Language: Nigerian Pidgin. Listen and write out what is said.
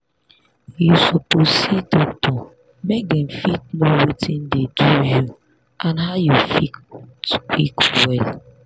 you suppose see doctor make dem fit know watin dey do you and how you fit quick well.